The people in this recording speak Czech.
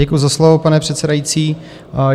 Děkuji za slovo, pane předsedající.